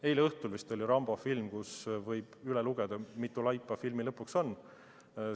Eile õhtul vist näidati "Rambo" filmi, kus võib üle lugeda, mitu laipa filmi lõpuks kokku saadakse.